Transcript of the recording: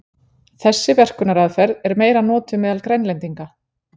Þessi verkunaraðferð er meira notuð meðal Grænlendinga.